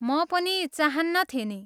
म पनि चाहन्नथेँ नि।